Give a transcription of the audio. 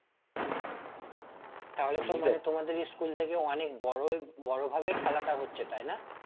তাহলে তো মানে তোমাদের school থেকে অনেক বড়োই বড় ভাবে খেলাটা হচ্ছে তাই না?